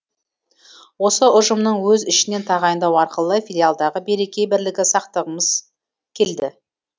осы ұжымның өз ішінен тағайындау арқылы филиалдағы береке бірлігі сақтағымыз келді